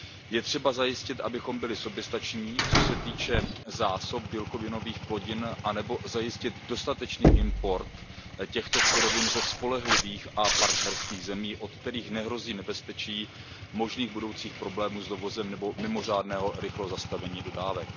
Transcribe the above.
Je třeba zajistit, abychom byli soběstační, co se týče zásob bílkovinových plodin, nebo zajistit dostatečný import těchto surovin ze spolehlivých a partnerských zemí, od kterých nehrozí nebezpečí možných budoucích problémů s dovozem nebo mimořádným rychlým zastavením dodávek.